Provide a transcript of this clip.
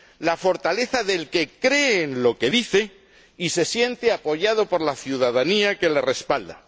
La fortaleza del que cree en lo que dice y se siente apoyado por la ciudadanía, que lo respalda.